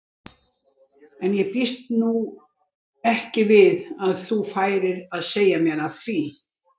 En ég býst nú ekki við að þú færir að segja mér af því.